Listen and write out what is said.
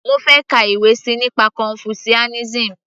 mo fẹ́ ka ìwé síi nípa confucianism